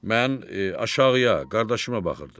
Mən aşağıya qardaşıma baxırdım.